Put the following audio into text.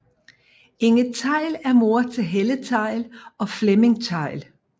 Inge Theil er mor til Helle Theil og Flemming Theil